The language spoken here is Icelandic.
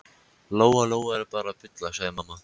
Lóa Lóa er bara að bulla, sagði mamma.